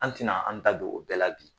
An tina an da don, o bɛɛ la bi